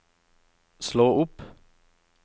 slå opp